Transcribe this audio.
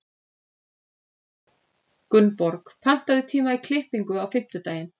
Gunnborg, pantaðu tíma í klippingu á fimmtudaginn.